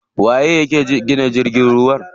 Waye yake gina jirgin ruwa?